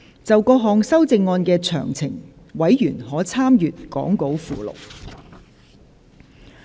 就各項修正案的詳情，委員可參閱講稿附錄。